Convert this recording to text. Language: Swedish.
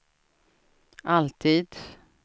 alltid